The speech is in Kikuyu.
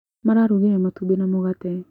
Mararugire matumbĩ na mũgate